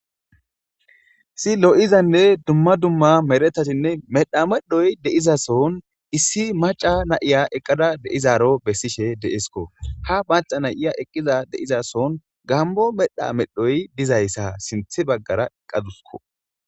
Issi issi lo'izane medhetati medha aawayi gigisida sooni issi macca na'iya eqada deyidaro besishe deyesi. Ha macca nayiya eqada diza sooni gammo medhayi